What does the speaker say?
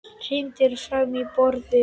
Hrindir fram á borðið.